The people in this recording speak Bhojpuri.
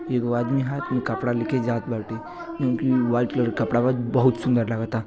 एगो आदमी हाथ में कपड़ा लेके जा बाटे। जौन कि व्हाइट कलर के कपड़ा बा। बहुत सुंदर लागता।